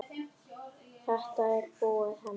Þetta er búið, Hemmi.